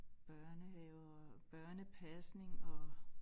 Børnehaver børnepasning og